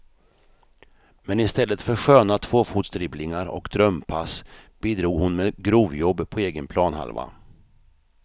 Men istället för sköna tvåfotsdribblingar och drömpass bidrog hon med grovjobb på egen planhalva.